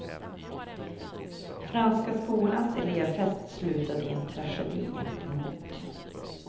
Franska skolans elevfest slutade i en tragedi. punkt